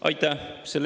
Aitäh!